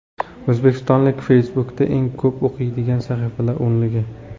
O‘zbekistonliklar Facebook’da eng ko‘p o‘qiydigan sahifalar o‘nligi.